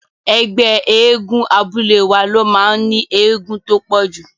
Ẹgbẹ́ eégún abúlé wa ló máa ní eégún tó pọ̀jù.